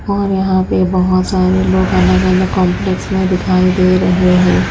और यहां पर बहोत सारे लोग अलग अलग कॉम्प्लेक् में दिखाई दे रहे हैं।